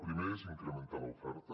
el primer és incrementar l’oferta